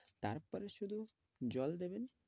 তারপরে শুধু জল দেবেন।